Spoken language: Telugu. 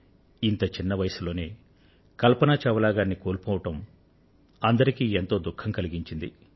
ఇంత చిన్నవయస్సు లోనే కల్పన చావ్లా గారిని కోల్పోవడం అందరికీ ఎంతో దుఖం కలిగించింది